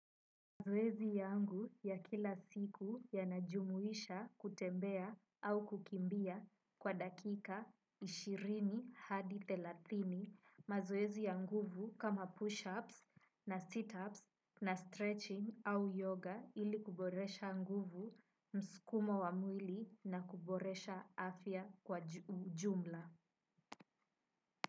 Mazoezi yangu ya kila siku ya najumuisha kutembea au kukimbia kwa dakika ishirini hadi thelathini mazoezi ya nguvu kama push-ups na sit-ups na stretching au yoga ili kuboresha nguvu mskumo wa mwili na kuboresha afya kwa jumla.